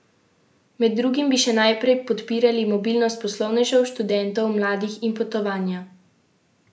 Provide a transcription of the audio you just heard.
Med drugim bi še naprej podpirali mobilnost poslovnežev, študentov, mladih in potovanja brez vizumov.